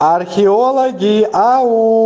археологи ау